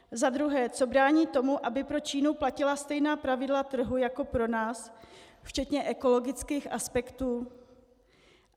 Za druhé, co brání tomu, aby pro Čínu platila stejná pravidla trhu jako pro nás včetně ekologických aspektů?